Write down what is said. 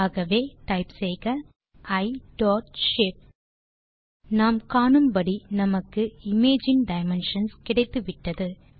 ஆகவே டைப் செய்க e dot shape நாம் காணும்படி நமக்கு இமேஜ் இன் டைமென்ஷன்ஸ் கிடைத்துவிட்டது